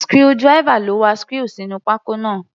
Screwdriver ló wa screw sínú pákó náà.